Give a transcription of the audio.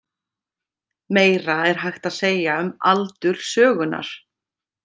Meira er hægt að segja um aldur sögunnar.